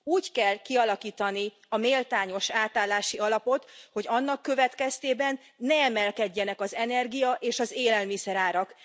Úgy kell kialakítani a méltányos átállási alapot, hogy annak következtében ne emelkedjenek az energia és az élelmiszerárak.